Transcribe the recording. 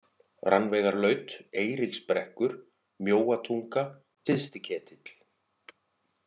Rannveigarlaut, Eiríksbrekkur, Mjóatunga, Syðsti-Ketill